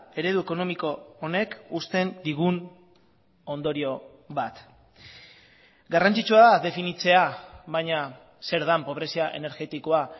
eredu ekonomiko honek uzten digun ondorio bat garrantzitsua da definitzea baina zer den pobrezia energetikoa